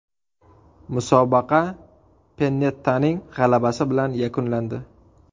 Musobaqa Pennettaning g‘alabasi bilan yakunlandi.